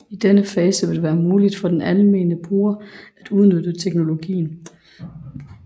I denne fase vil det være muligt for den almene bruger at udnytte teknologien